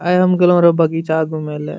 आय हम गेलो रहे बगीचा घुमेला।